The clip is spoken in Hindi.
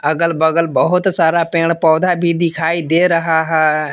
अगल बगल बहुत सारा पेड़ पौधा भी दिखाई दे रहा है।